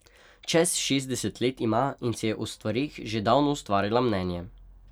Čez šestdeset let ima in si je o stvareh že davno ustvarila mnenje.